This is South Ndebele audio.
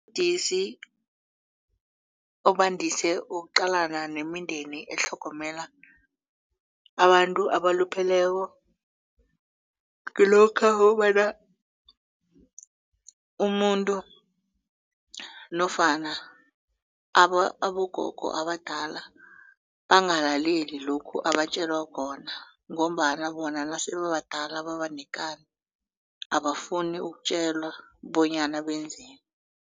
Ubudisi obandise ukuqalana nemindeni etlhogomela abantu abalupheleko kulokha ukobana umuntu nofana abogogo abadala bangalaleli lokhu abatjelwa khona ngombana bona nase babadala babanekani abafuni ukutjelwa bonyana benzeni.